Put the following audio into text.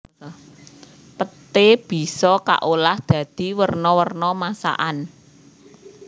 Peté bisa kaolah dadi werna werna masakan